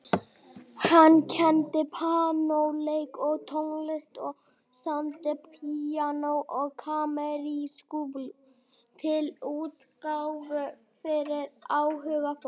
Hann kenndi píanóleik og tónsmíðar og samdi píanó- og kammermúsík til útgáfu fyrir áhugafólk.